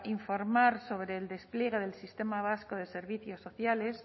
informar sobre el despliegue del sistema vasco de servicios sociales